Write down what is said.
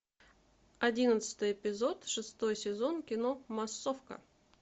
одиннадцатый эпизод шестой сезон кино массовка